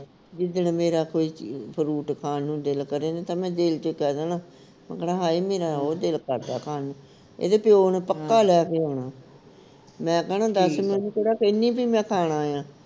ਜਿੱਦਣ ਮੇਰਾ ਕੋਈ fruit ਖਾਣ ਨੂੰ ਦਿਲ ਕਰੇ ਨਾ ਮੈਂ ਦਿਲ ਵਿਚ ਕਹਿ ਦੇਣਾ ਮੈਂ ਕਹਿਣਾ ਹਏ ਮੇਰਾ ਉਹ ਦਿਲ ਕਰਦਾ ਖਾਣ ਨੂੰ ਇਹਦੇ ਪਿਉ ਨੇ ਪੱਕਾ ਲੈ ਕੇ ਆਉਣਾ। ਮੈਂ ਕਹਿਣਾ ਦੱਸ ਮੈਂ ਉਹਨੂੰ ਕਿਹੜਾ ਕਹਿਨੀ ਕਿ ਮੈਂ ਖਾਣਾ ਆ